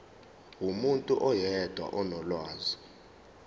umuntu oyedwa onolwazi